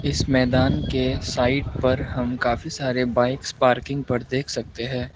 इस मैदान के साइड पर हम काफी सारे बाइक्स पार्किंग पर देख सकते हैं।